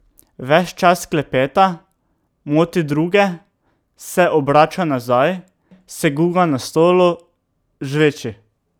Ves čas klepeta, moti druge, se obrača nazaj, se guga na stolu, žveči ...